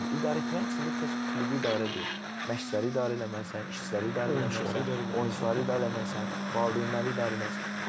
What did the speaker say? İdarəetmənin içində təkcə klubu idarə deyil, məşqçiləri idarə eləməlisən, işçiləri idarə eləməlisən, oyunçuları idarə eləməlisən, valideynləri idarə eləməlisən.